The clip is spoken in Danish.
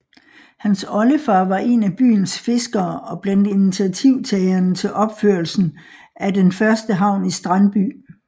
Hans oldefar var en af byens fiskere og blandt initiativtagerne til opførelsen af den første havn i Strandby